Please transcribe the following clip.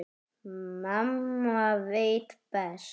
Mamma veit best.